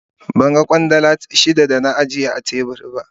Ban gan Kwandala shida da na ajiye a tebur.